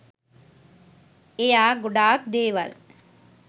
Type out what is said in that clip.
එයා ගොඩක් දේවල්